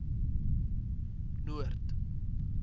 noord